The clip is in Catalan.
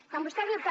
quan vostè diu que